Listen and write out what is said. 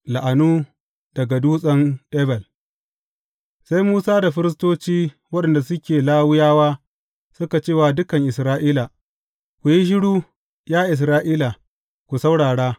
La’anu daga Dutsen Ebal Sai Musa da firistoci waɗanda suke Lawiyawa suka ce wa dukan Isra’ila, Ku yi shiru, ya Isra’ila, ku saurara!